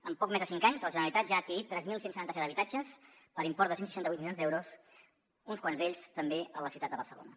amb poc més de cinc anys la generalitat ja ha adquirit tres mil cent i setanta set habitatges per import de cent i seixanta vuit milions d’euros uns quants d’ells també a la ciutat de barcelona